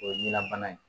O ye ɲinɛbana ye